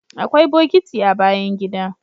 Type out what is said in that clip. Akwai bokiti a bayan gida